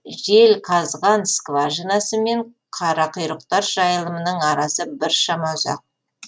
желқазған скважинасы мен қарақұйрықтар жайылымының арасы біршама ұзақ